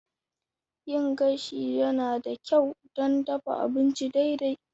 Yin gashi yana da kyau don dafa abinci daidai.